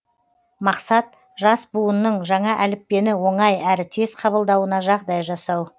мақсат жас буынның жаңа әліппені оңай әрі тез қабылдауына жағдай жасау